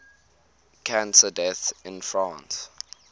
cancer deaths in france